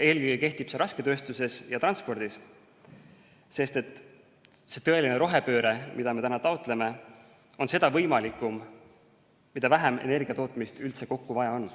Eelkõige kehtib see rasketööstuses ja transpordis, sest see tõeline rohepööre, mida me taotleme, on seda võimalikum, mida vähem energiatootmist üldse kokku vaja on.